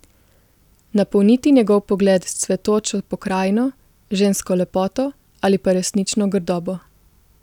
Napolniti njegov pogled s cvetočo pokrajino, žensko lepoto ali pa resnično grdobo.